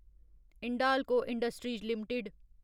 Hindalco industries limited